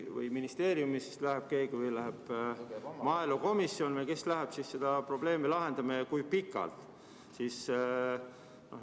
Kas ministeeriumist läheb keegi või läheb maaelukomisjon või kes siis läheb seda probleemi lahendama ja kui kauaks?